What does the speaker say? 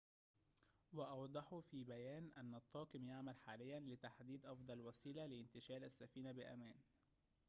وأوضحوا في بيان أن الطاقم يعمل حاليًا لتحديد أفضل وسيلة لانتشال السفينة بأمان